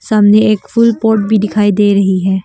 सामने एक फूल पोट भी दिखाई दे रही है।